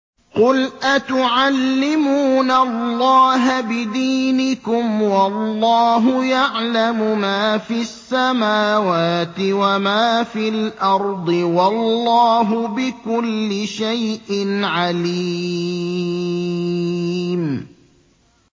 قُلْ أَتُعَلِّمُونَ اللَّهَ بِدِينِكُمْ وَاللَّهُ يَعْلَمُ مَا فِي السَّمَاوَاتِ وَمَا فِي الْأَرْضِ ۚ وَاللَّهُ بِكُلِّ شَيْءٍ عَلِيمٌ